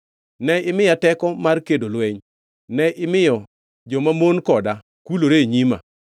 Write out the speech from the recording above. Ne imiya teko mar kedo lweny; ne imiyo jomamon koda kulore e nyima.